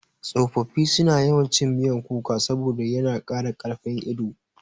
Tsofaffi suna yawan cin miyan kuka saboda yana ƙara ƙarfin ido.